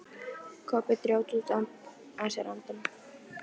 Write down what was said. Kobbi dró djúpt að sér andann.